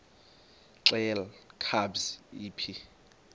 xelel kabs iphi